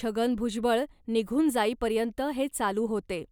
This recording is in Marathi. छगन भुजबळ निघून जाईपर्यंत हे चालू होते.